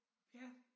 Ja